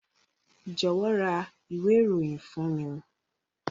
Jọ̀wọ́ ra ìwé ìròyìn fún mi.